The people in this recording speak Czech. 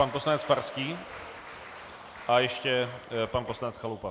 Pan poslanec Farský a ještě pan poslanec Chalupa.